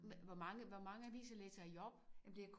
Men hvor mange hvor mange aviser læser I op?